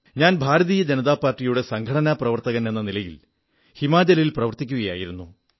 ഞാൻ ഭാരതീയ ജനതാ പാർട്ടിയുടെ സംഘടനാ പ്രവർത്തകനെന്ന നിലയിൽ ഹിമാചലിൽ പ്രവർത്തിക്കയായിരുന്നു